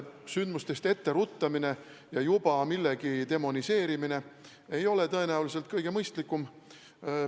Sündmustest etteruttamine ja juba ette millegi demoniseerimine ei ole tõenäoliselt kõige mõistlikum.